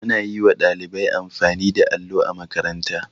Ana yi wa ɗalibai amfani da allo a makaranta.